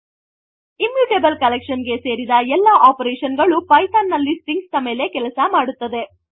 immutable collection ಗೆ ಸೇರಿದ ಎಲ್ಲ operationಗಳು pythonನಲ್ಲಿ stringsನ ಮೇಲೆ ಕೆಲಸ ಮಾಡುತ್ತದೆ